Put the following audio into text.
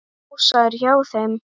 Ása er hjá þeim.